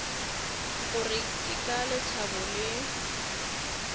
gore ke ka lethabo le